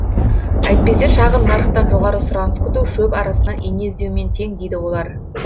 әйтпесе шағын нарықтан жоғары сұраныс күту шөп арасынан ине іздеумен тең дейді олар